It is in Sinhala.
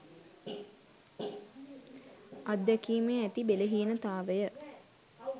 අත්දැකීමේ ඇති බෙලහීනතාවය